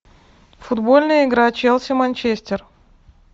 футбольная игра челси манчестер